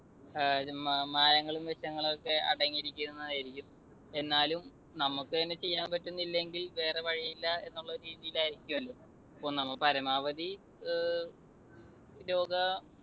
ഏർ മായങ്ങളും വിഷങ്ങളൊക്കെ അടങ്ങിയിരിക്കുന്നതായിരിക്കും. എന്നാലും നമുക്കുതന്നെ ചെയ്യാൻ പറ്റുന്നില്ലെങ്കിൽ വേറെ വഴിയില്ല എന്നുള്ള രീതിയിൽ ആയിരിക്കുമല്ലോ. അപ്പൊ നമ്മൾ പരമാവധി ഏർ രോഗ